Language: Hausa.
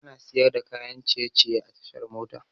Ana siyar da kayan ciye ciye a tashar mota